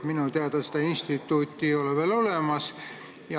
Minu teada seda instituuti ei ole veel olemas.